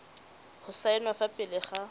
go saenwa fa pele ga